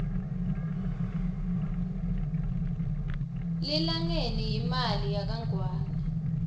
lilangeni yimali yakangwane